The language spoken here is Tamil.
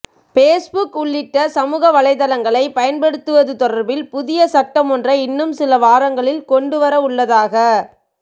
பேஸ்புக் உள்ளிட்ட சமூக வலைதளங்களை பயன்படுத்துவது தொடர்பில் புதிய சட்டம் ஒன்றை இன்னும் சில வாரங்களில் கொண்டுவரவுள்ளதாக